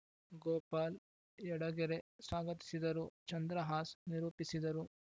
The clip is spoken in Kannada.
ಗೋಪಾಲ್‌ ಯಡಗೆರೆ ಸ್ವಾಗತಿಸಿದರು ಚಂದ್ರಹಾಸ್‌ ನಿರೂಪಿಸಿದರು